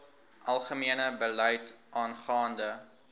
algemene beleid aangaande